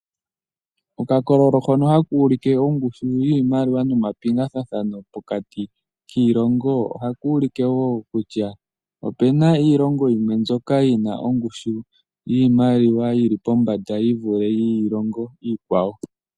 Oka kololo hono haka u like ongushu yiimaliwa no mapingathano giimaliwa pokati kiilongo, ohaka u like wo kutya